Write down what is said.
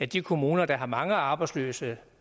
de kommuner der har mange arbejdsløse